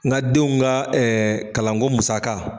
Nka denw ka kalanko musaka.